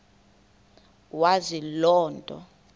wazi loo nto